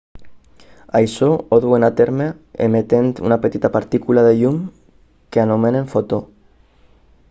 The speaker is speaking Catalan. això ho duen a terme emetent una petita partícula de llum que anomenem fotó